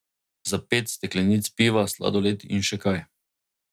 Za pet steklenic piva, sladoled in še kaj.